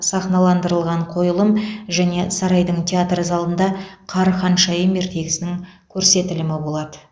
сахналандырылған қойылым және сарайдың театр залында қар ханшайым ертегісінің көрсетілімі болады